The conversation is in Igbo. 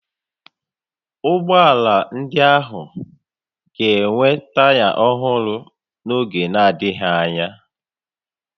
Ụgbọ ala ndị ahụ ga-enwe taya ọhụrụ n'oge n'adịghị anya